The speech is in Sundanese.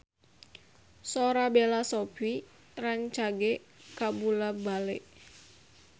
Sora Bella Shofie rancage kabula-bale